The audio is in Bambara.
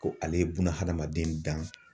Ko ale ye bunahadamaden dan.